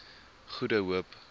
goede hoop